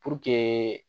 Puruke